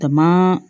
Taama